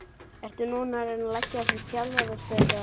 Ertu núna að reyna að leggja fyrir þig þjálfarastörf eða?